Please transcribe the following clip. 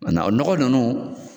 o nɔgɔ ninnu